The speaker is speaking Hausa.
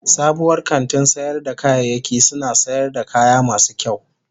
Sabuwar kantin sayar da kayayyaki suna sayar da kaya masu kyau.